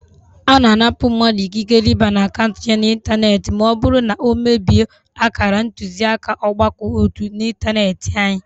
Ana anapụ mmadụ ikikere ịba n'akaụntụ ya na ịntanetị ma ọ bụrụ na ọ mebie akara ntuziaka ọgbakọ ótú ịntanetị anyị